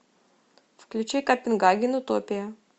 включи копенгаген утопия